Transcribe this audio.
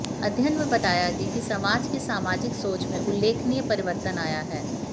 अध्ययन में बताया गया है कि समाज की सामाजिक सोच में उल्लेखनीय परिवर्तन आया है